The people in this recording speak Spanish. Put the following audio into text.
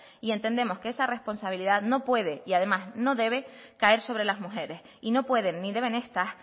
y entendemos que esa responsabilidad no puede y además no debe caer sobre las mujeres y no pueden ni deben estas